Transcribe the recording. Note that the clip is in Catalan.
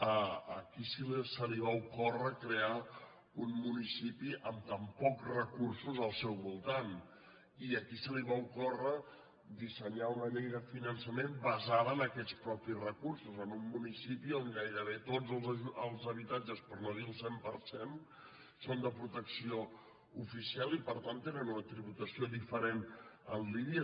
a qui se li va ocórrer crear un municipi amb tan pocs recursos al seu voltant i a qui se li va ocórrer dissenyar una llei de finançament basada en aquests propis recursos en un municipi on gairebé tots els habitatges per no dir el cent per cent són de protecció oficial i per tant tenen una tributació diferent en línia